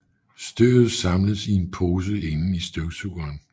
Støvet samles i en pose inden i støvsugeren